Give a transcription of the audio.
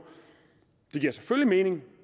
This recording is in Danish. det giver selvfølgelig mening